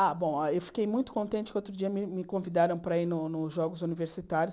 Ah, bom, eu fiquei muito contente que outro dia me me convidaram para ir no nos Jogos Universitários.